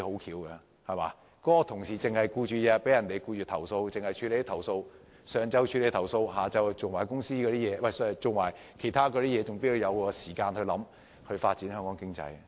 如果同事每天都忙於處理投訴個案，在上午處理投訴個案，到了下午才處理其他工作，又怎會有時間思考如何發展香港經濟？